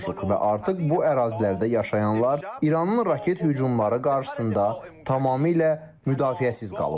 Və artıq bu ərazilərdə yaşayanlar İranın raket hücumları qarşısında tamamilə müdafiəsiz qalıblar.